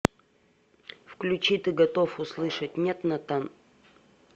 включи ты готов услышать нет натан